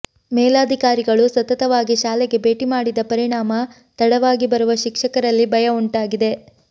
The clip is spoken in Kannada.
ಮೇಲಾಧಿಕಾರಿಗಳು ಸತತವಾಗಿ ಶಾಲೆಗೆ ಭೇಟಿ ಮಾಡಿದ ಪರಿಣಾಮ ತಡವಾಗಿ ಬರುವ ಶಿಕ್ಷಕರಲ್ಲಿ ಭಯ ಉಂಟಾಗಿದೆ